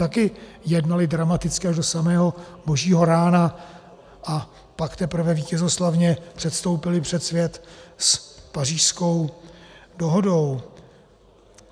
Taky jednali dramaticky až do samého božího rána, a pak teprve vítězoslavně předstoupili před svět s Pařížskou dohodou.